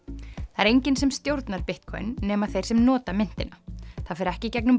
það er enginn sem stjórnar Bitcoin nema þeir sem nota myntina það fer ekki í gegnum